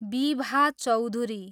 Bibha Chaudhuri